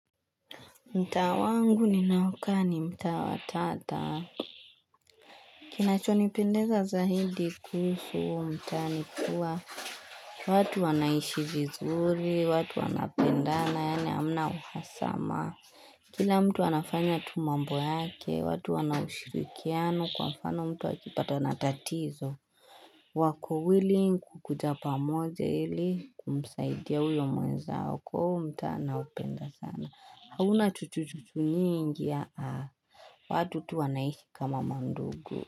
Mtaa wangu ninaokaa ni mta wa tata. Kinachonipendeza zaidi kuhusu huo mtaa ni kuwa watu wanaishi vizuri, watu wanapendana na hamna uhasama. Kila mtu anafanya tu mambo yake, watu wanaushirikiano kwa mfano mtu akipatana na tatizo. Wako willing kukuja pamoja ili kumsaidia huyo mwenzao kwa hio huo mtaa naupenda sana. Hauna chuchu chuchu mingi watu tu wanaishi kama mandugu.